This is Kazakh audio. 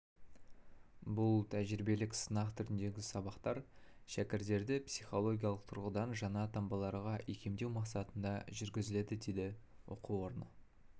бұл тәжірибелік сынақ түріндегі сабақтар шәкірттерді психологиялық тұрғыдан жаңа таңбаларға икемдеу мақсатында жүргізіледі дейді оқу орны